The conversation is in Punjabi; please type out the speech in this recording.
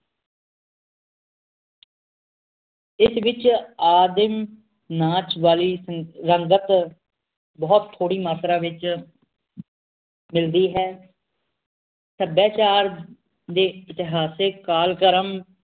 ਇਸ ਵਿਚ ਆਦਿਮ ਨਾਚ ਵਾਲੀ ਰੰਗਤ ਬਹੁਤ ਥੋੜੀ ਮਾਤਰਾ ਵਿਚ ਮਿਲਦੀ ਹੈ ਸਭਿਆਚਾਰ ਦੇ ਇਤਿਹਾਸਿਕ ਕਾਲਕ੍ਰਮ